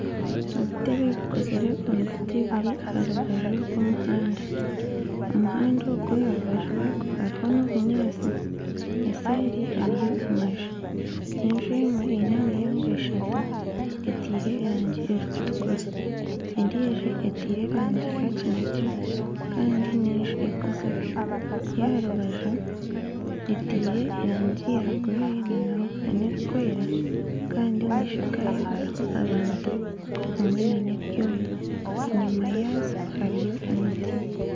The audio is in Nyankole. Obutebe obukozirwe omu biti buri aha rubaju rw'omuhanda, omuhanda ogu aha rubaju rwago hariho n'obunyaatsi, eseeri hariyo amaju, enju emwe eine emiryango eshatu etaire erangi erikutukura endiijo etaire erangi erikutukura kandi n'enju ekuzire ey'aha rubaju etaire erangi ya gure n'erikwera kandi omu maisha gaayo harimu abantu hamwe n'ebyoma, enyima yaazo hariyo emiti